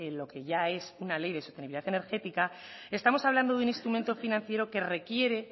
lo que ya es una ley de sostenibilidad energética estamos hablando de un instrumento financiero que requiere